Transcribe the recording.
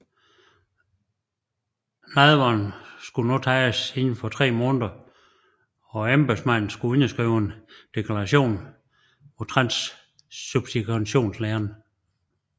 Nadveren skulle nu tages indenfor 3 måneder og embedsmanden skulle underskrive en deklaration mod transsubstantiationslæren